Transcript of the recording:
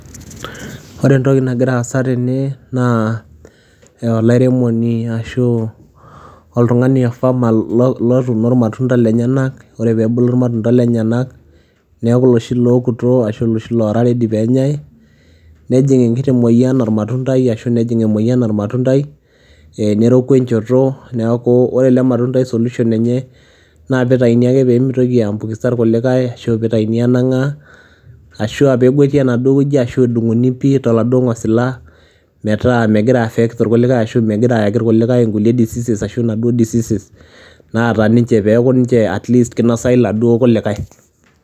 Ore entoki nagira aasa tene naa ee olairemoni ashu oltung'ani oo farmer lo lotuuno irmatunda lenyenak. Ore peebulu irmatunda lenyenak neeku iloshi lookuto ashu iloshi loora ready peenyai nejing' enkiti mueyian ormatundai ashu nejing' emueyian ormatundai ee neroku enchoto. Neeku ore ele matundai solution enye naa piitayuni ake pee mitoki aiambukiza irkulikai ashu piitayuni aanang'aa ashu aa peegweti enaduo wueji ashu edung'uni pii toladuo ng'osila metaa megira aiaffect irkulikai ashu megira ayaki irkulikai inkulie diseases ashu inaduo diseases naata ninche peeku ninche at least kinosayu iladuo kulikai.